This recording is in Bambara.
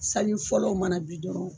Sali fɔlɔ mana bi dɔrɔn